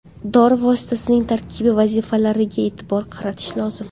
Dori vositasining tarkibi va vazifalariga e’tibor qaratish lozim.